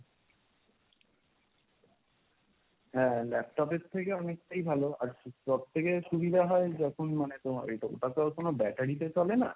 হ্যাঁ laptop এর থেকে অনেকটাই ভালো। আর সব থেকে সুবিধা হয় যখন মানে তোমার এটা ওটা তো আর কোন battery তে চলে না,